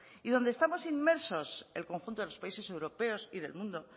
y donde estamos inmersos el conjunto de los países europeos y del mundo